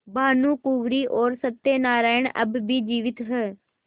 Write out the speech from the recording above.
भानुकुँवरि और सत्य नारायण अब भी जीवित हैं